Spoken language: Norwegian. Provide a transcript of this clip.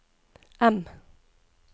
M